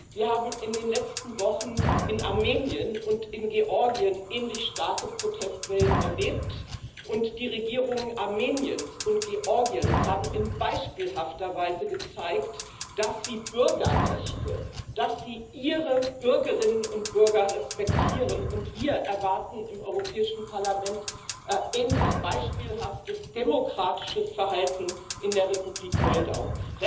Wir haben in den letzten Wochen in Armenien und in Georgien ähnlich starke Protestwellen erlebt, und die Regierungen Armeniens und Georgiens haben in beispielhafter Weise gezeigt, dass sie Bürgerrechte, dass sie ihre Bürgerinnen und Bürger respektieren, und wir im Europäischen Parlament erwarten sähnlich beispielhaftes demokratisches Verhalten in der Republik Moldau.